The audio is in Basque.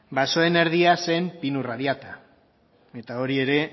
basoen erdia zen pinu radiata eta hori ere